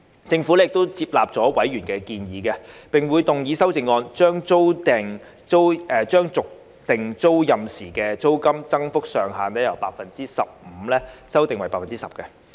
政府亦接納委員的建議，並會動議修正案，將續訂租賃時的租金增幅上限，由 15% 修訂為 10%。